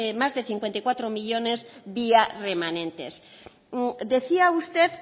más de cincuenta y cuatro millónes vía remanentes decía usted